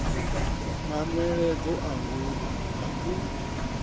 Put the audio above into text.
manweledzo a ngudo na u